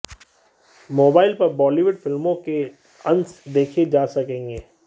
mobile पर बॉलीवुड फिल्मों के अंश देखे जा सकेंगे